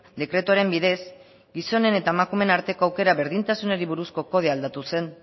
dekretuaren bidez gizonen eta emakumeen arteko aukera berdintasunari buruzko kodea aldatu zen